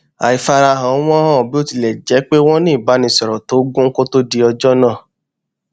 àìfarahàn wọn hàn bí ó tilẹ jẹ pé wọn ní ìbánisọrọ tó gún kó to di ọjọ náà